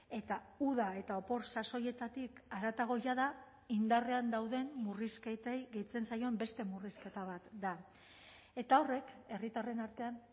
eta uda eta opor sasoietatik haratago jada indarrean dauden murrizketei gehitzen zaion beste murrizketa bat da eta horrek herritarren artean